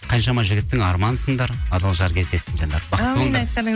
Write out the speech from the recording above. қаншама жігіттің арманысыңдар адал жар кездессін жанымдарым